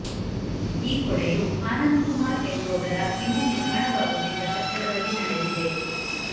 ಈ ಕೊಳೆಯು ಆನಂದ್ ಕುಮಾರ್ ಎನ್ನುವವರ ಇನ್ನು ನಿರ್ಮಾಣವಾಗುತ್ತಿದ್ದ ಕಟ್ಟಡದಲ್ಲಿ ನಡೆದಿದೆ